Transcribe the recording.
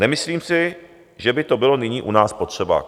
Nemyslím si, že by to bylo nyní u nás potřeba."